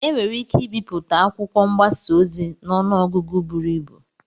Enwere ike ibipụta akwụkwọ mgbasa ozi n'ọnụ ọgụgụ buru ibu.